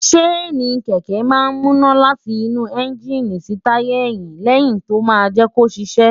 ṣéènì kẹ̀kẹ́ máa ń múná láti inú ẹ́ńgíìnì sí táyà ẹ̀yín léyìí tó máa ń jẹ́ kó ṣiṣẹ́.